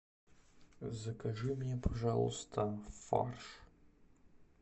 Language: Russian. закажи мне пожалуйста фарш